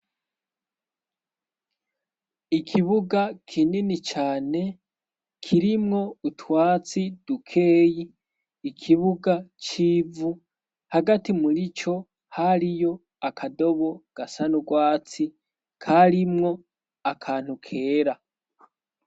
Ikibuga kinini cane kirimwo utwatsi dukeyi ikibuga c'ivu hagati muri co hariyo akadobo gasa n' ugwatsi karimwo akantu kera.